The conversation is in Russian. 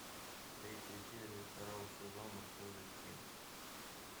третья серия второго сезона козырьки